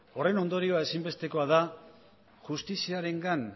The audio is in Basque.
horren ondorioa ezinbestekoa da justiziarengan